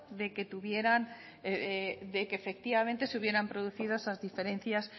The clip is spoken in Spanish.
de que tuvieran de que efectivamente se hubieran producido esas diferencias